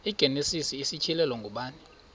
igenesis isityhilelo ngubani